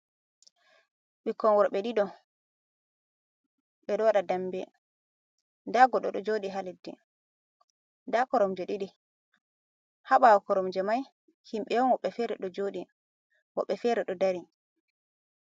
Ɓikkon worɓe ɗiɗo ɓe ɗo waɗa damɓe, nda goɗɗo ɗo joɗi ha leɗɗi, nda koromje ɗiɗi ha ɓawo koromje mai himɓɓe on woɓɓe fere ɗo joɗi, woɓɓe fere ɗo dari.